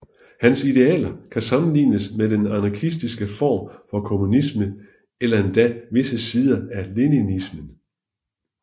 Hans idealer kan sammenlignes med den anarkistiske form for kommunisme eller endda visse sider af leninismen